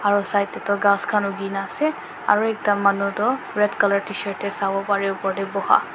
aru side teh tu ghass khan ugih na ase aru ekta manu toh red colour tshirt teh sabo pare bo upar teh boha.